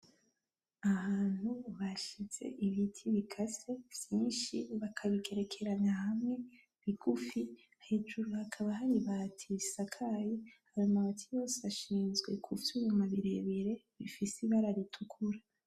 Ahantu bashize ibiti bikase vyishi bakabigerekeranya hamwe bigufi, Hejuru hakaba hari ibati risakaye ,Ayo mazu ashinzwe kuvyuma birebire bifise ibara ritukura.